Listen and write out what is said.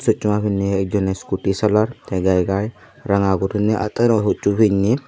choksoma pinney ekjoney iskuti salar te gai gai ranga guriney attano hussu pinney.